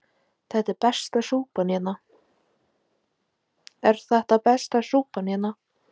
Elísabet: Er þetta besta súpan hérna?